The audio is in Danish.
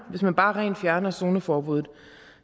at hvis man bare rent fjerner zoneforbuddet